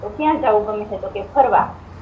તોહ ક્યાં જઉ ગમે તોહ કહે ફરવા